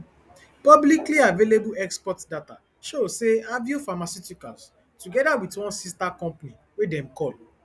publiclyavailable export data show say aveo pharmaceuticals togeda wit one sister company wey dem call